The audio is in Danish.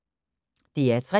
DR P3